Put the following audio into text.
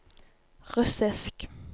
russisk